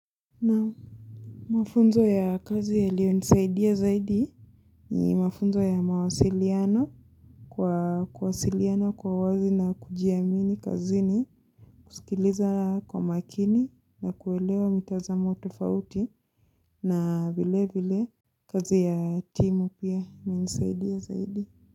Na mafunzo ya kazi yalio nisaidia zaidi ni mafunzo ya mawasiliano kwa kwasiliana kwa wazi na kujiamini kazini kuskiliza kwa makini na kuelewa mitazamo tofauti na vile vile kazi ya timu pia imenisaidia zaidi.